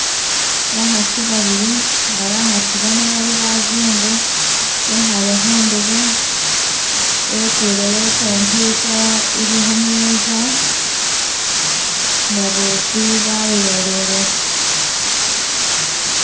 Bakhasi babili nga bakhasi bano bali bazungu, bekhale khundebe bekulewo i computer ili khu meza, nga bosi balolelekho.